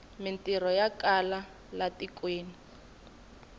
mintirho ya kala e tikweni